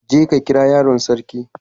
je ka kira yaron sarki.